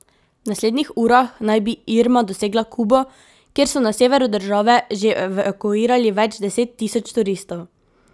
V naslednjih urah naj bi Irma dosegla Kubo, kjer so na severu države že evakuirali več deset tisoč turistov.